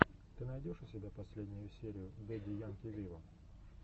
ты найдешь у себя последнюю серию дэдди янки виво